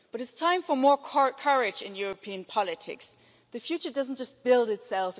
But it's time for more courage in European politics. The future doesn't just build itself